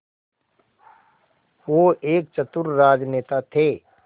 वो एक चतुर राजनेता थे